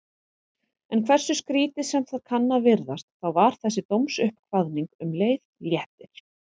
En hversu skrýtið sem það kann að virðast, þá var þessi dómsuppkvaðning um leið léttir.